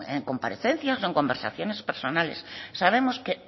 en comparecencias o en conversaciones personales sabemos que